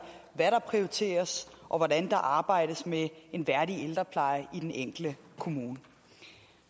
hvad der prioriteres og hvordan der arbejdes med en værdig ældrepleje i den enkelte kommune